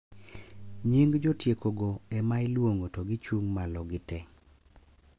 Nying jotieko go ema iluongo to gichung` malo gitee.